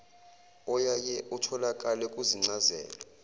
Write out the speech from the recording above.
oyaye utholakale kuzincazelo